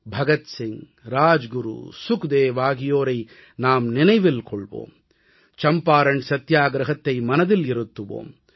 பகத் சிங் ராஜ்குரு சுக்தேவ் ஆகியோரை நாம் நினைவில் கொள்வோம் சம்பாரண் சத்தியாகிரஹத்தை மனதில் இருத்துவோம்